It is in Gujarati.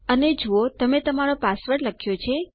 અને જુઓ તમે તમારો પાસવર્ડ લખ્યો છે